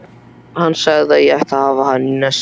Hann sagði að ég ætti að hafa hana í nesti.